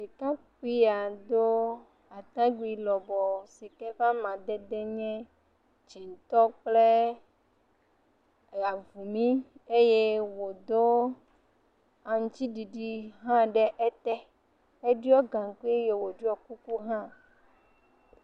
Ɖekakpuia do atakpui lebɔɔ si ke ƒe amadede nye dzɛ̃tɔ kple avumi eye wòdo aŋutiɖiɖi ɖe ete, eɖɔi gaŋkui eye wòɖiɔ kuku hã.